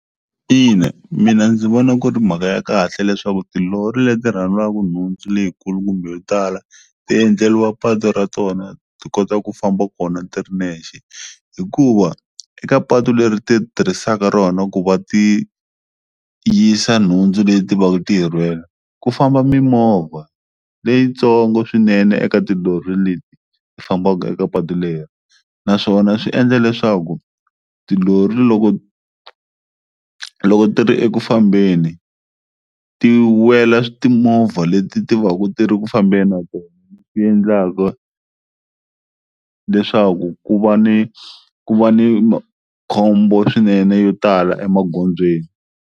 Ina mina ndzi vona ku ri mhaka ya kahle leswaku tilori leti rhalwaku nhundzu leyikulu kumbe yo tala tiendleliwa patu ra tona ti kota ku famba kona ti ri nexe hikuva eka patu leri ti tirhisaka rona ku va ti yisa nhundzu leti va ku ti yi rhwele ku famba mimovha leyintsongo swinene eka tilori leti fambaka eka patu leri naswona swi endla leswaku tilori loko loko ti ri eku fambeni ti wela timovha leti ti va ku ti ri ku fambeni na tona ti endlaka leswaku ku va ni ku va ni makhombo swinene yo tala emagondzweni.